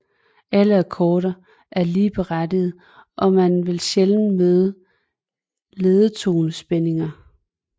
Alle akkorder er ligeberettigede og man vil sjældent møde ledetonespændinger